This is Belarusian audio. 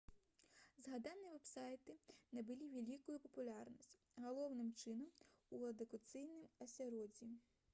згаданыя вэб-сайты набылі вялікую папулярнасць галоўным чынам у адукацыйным асяроддзі